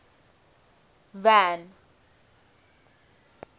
van